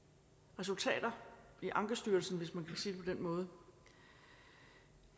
resultater i ankestyrelsen hvis man kan sige det på den måde